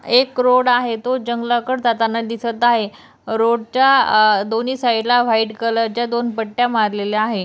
एक रोड आहे तो जंगलाकडे जाताना दिसत आहे रोडच्या दोन्ही साइडला व्हाइट कलर च्या दोन पट्ट्या मारलेल्या आहे.